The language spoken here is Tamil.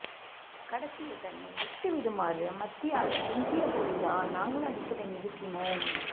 கடைசியில் தன்னை விட்டுவிடுமாறு மத்தியாஸ் கெஞ்சியபோதுதான் நாங்கள் அடிப்பதை நிறுத்தினோம்